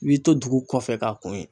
I b'i to dugu kɔfɛ k'a kun ye